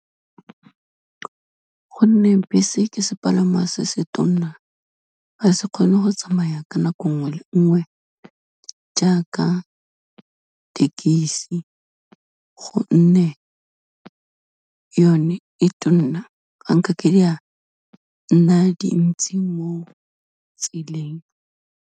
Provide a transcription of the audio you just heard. Gonne bese ke sepalama se se tona, ga se kgone go tsamaya ka nako nngwe le nngwe, jaaka thekesi, gonne yone e tona, ha e ka ke di a, nna dintsi mo tseleng.